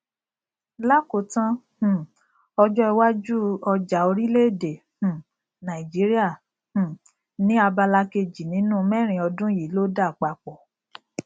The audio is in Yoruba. lakotan um ọjọ iwájú ọjà orileede um nàìjíríà um ni abala kejì nínú mẹrin ọdún yìí ló dá papọ